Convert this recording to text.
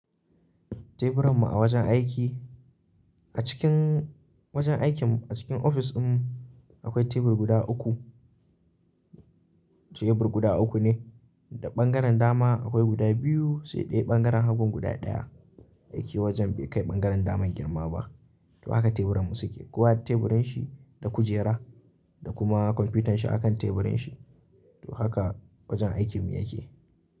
Teburan mu a wajen aiki, a cikin wajen aikin mu a cikin ofis din akwai tebur guda uku, tebur guda uku ne. Da ɓangaren dama akwai guda biyu sai daya ɓangaren hagun guda ɗaya. Aiki wajen bai kai ɓangaren daman girma ba. To haka teburanmu suke. Kowa da teburin shi da kujera da kuma kwamfutan shi a kan teburin shi. To haka wajen aikinmu yake.